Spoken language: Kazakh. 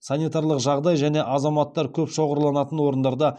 санитарлық жағдай және азаматтар көп шоғырланатын орындарда